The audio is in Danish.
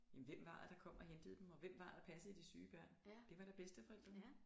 Jamen hvem var det der kom og hentede dem og hvem var det der passede de syge børn det var da bedsteforældrene